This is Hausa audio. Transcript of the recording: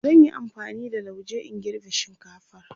zan Yi amfani da lauje in girbe shinkatfar